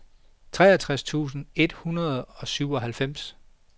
treogtres tusind et hundrede og syvoghalvfjerds